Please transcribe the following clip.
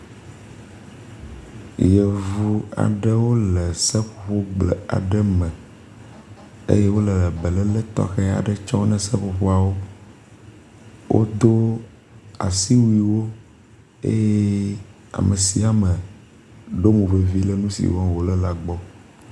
Yevu aɖewo le seƒoƒogble aɖe me eye wo le beléle tɔxe aɖe tsɔm na seƒoƒoawo. Wodo asiwuiwo eye ame sia ame ɖo mo vevi ɖe nu si wɔm wo le la gbɔ.